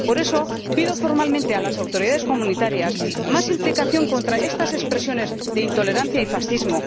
Por eso, pido formalmente a las autoridades comunitarias más implicación contra estas expresiones de intolerancia y fascismo